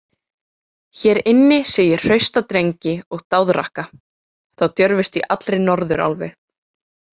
Hér inni sé ég hrausta drengi og dáðrakka, þá djörfustu í allri Norðurálfu.